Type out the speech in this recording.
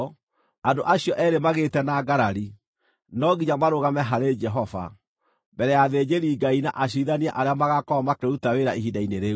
andũ acio eerĩ magĩte na ngarari, no nginya marũgame harĩ Jehova, mbere ya athĩnjĩri-Ngai na aciirithania arĩa magaakorwo makĩruta wĩra ihinda-inĩ rĩu.